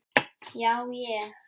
Já ég.